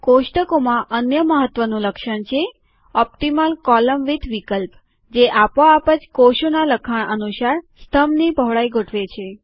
કોષ્ટકોમાં અન્ય મહત્વનું લક્ષણ છે ઓપટીમલ કોલમ વિદ્થ વિકલ્પ જે આપોઆપ જ કોષોનાં લખાણ અનુસાર સ્તંભની પહોળાઈ ગોઠવે છે